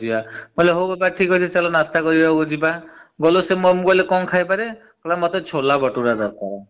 ମୁଁ କହିଲି ହାଉ ବାବା ଚାଲ ଆମେ ନାସ୍ତା କରିବାକୁ ଯିବା । ଗଲୁ ଆମେ ମୁ କହିଲି କଣ ଖାଇବ?